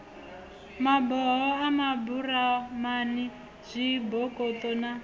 maboho a maburamani zwibokoṱo na